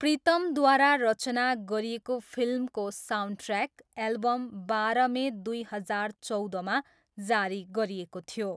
प्रीतमद्वारा रचना गरिएको फिल्मको साउन्डट्र्याक एल्बम, बारह मे दुई हजार चौधमा जारी गरिएको थियो।